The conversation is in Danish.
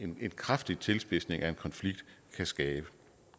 kraftig tilspidsning af en konflikt kan skabe